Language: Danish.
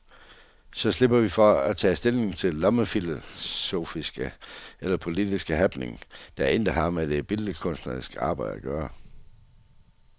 Så slipper vi for at tage stilling til lommefilosofiske eller politiske happenings, der intet har med det billedkunstneriske arbejde at gøre.